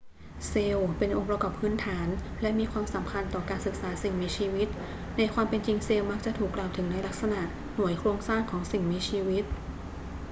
เซลล์ เป็นองค์ประกอบพื้นฐานและมีความสำคัญต่อการศึกษาสิ่งมีชีวิต ในความเป็นจริงเซลล์มักจะถูกกล่าวถึงในฐานะ หน่วยโครงสร้างของสิ่งมีชีวิต